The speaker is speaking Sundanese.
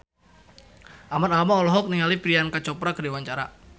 Ahmad Albar olohok ningali Priyanka Chopra keur diwawancara